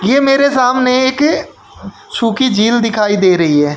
ये मेरे सामने एक सूखी झील दिखाई दे रही है।